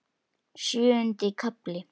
Sjöundi kafli